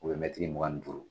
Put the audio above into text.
mɛtiri mugan ni duuru